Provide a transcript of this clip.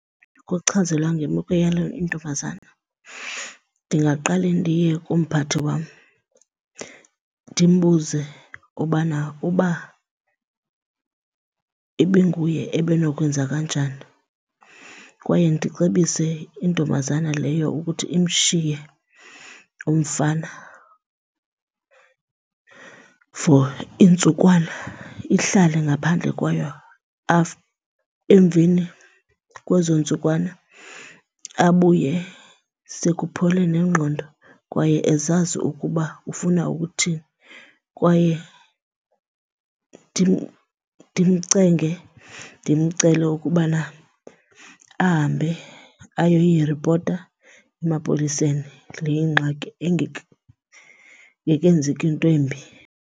ngemeko yale ntombazana, ndingaqale ndiye kumphathi wam ndimbuze ubana uba ibinguye ebenokwenza kanjani. Kwaye ndicebise intombazana leyo ukuthi imshiye umfana for iintsukwana, ihlale ngaphandle kwayo, emveni kwezo ntsukwana abuye sekuphole nengqondo kwaye ezazi ukuba ufuna ukuthini. Kwaye ndimcenge, ndimcele ukubana ahambe ayoyiripota emapoliseni le ingxaki ingekenzeki into embi.